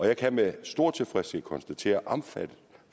jeg kan med stor tilfredshed konstatere